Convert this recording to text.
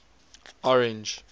orange